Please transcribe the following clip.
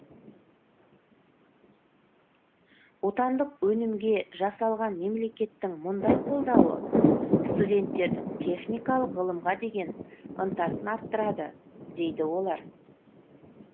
отандық өнімге жасалған мемлекеттің мұндай қолдауы студенттердің техникалық ғылымға деген ынтасын арттырады дейді олар